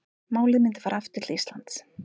Málið myndi fara til Íslands